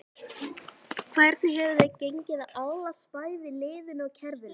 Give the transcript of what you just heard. Hvernig hefur þér gengið að aðlagast bæði liðinu og kerfinu?